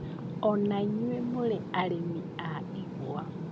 Ona inyũĩ mũrĩ arĩmi a igwa